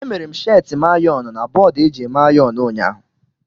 E mere m sheeti m ayọn na bọọdụ eji eme ayon ụnyaahụ.